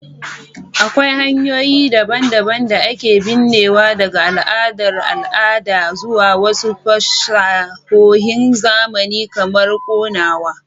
Akwai hanyoyi daban-daban da ake binnewa, daga al'adar al'ada zuwa wasu fasahohin zamani kamar konawa.